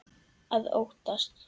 Að óttast!